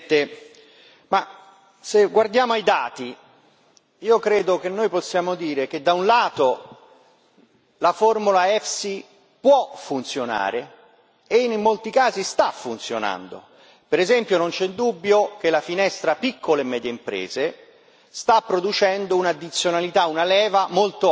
Signora Presidente, onorevoli colleghi, se guardiamo ai dati, io credo che noi possiamo dire che da un lato la formula EFSI può funzionare e, in molti casi, sta funzionando. Per esempio, non c'è dubbio che la finestra piccole e medie imprese sta producendo un'addizionalità, una leva, molto alta, e sta dando risultati positivi.